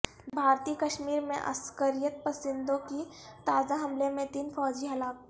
بھارتی کشمیر میں عسکریت پسندوں کے تازہ حملے میں تین فوجی ہلاک